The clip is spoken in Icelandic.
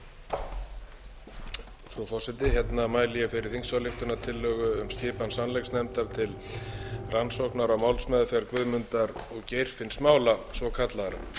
frú forseti hérna mæli ég fyrir þingsályktunartillögu um skipan sannleiksnefndar til rannsóknar á málsmeðferð guðmundar og geirfinnsmála svokallaðra